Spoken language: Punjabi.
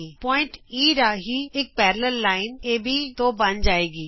ਪੋਆਇੰਟ ਈ ਰਾਹੀਂ ਇਕ ਸਮਾਂਤਰ ਲਾਈਨ ਏਬੀ ਤੇ ਬਣ ਜਾਵੇਗੀ